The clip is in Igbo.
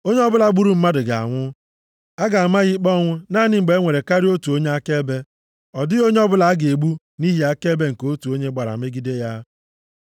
“ ‘Onye ọbụla gburu mmadụ ga-anwụ. A ga-ama ya ikpe ọnwụ naanị mgbe e nwere karịa otu onye akaebe. Ọ dịghị onye ọbụla a ga-egbu nʼihi akaebe nke otu onye gbara megide ya.